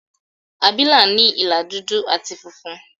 Àbìlà ní ìlà dúdú àti funfun.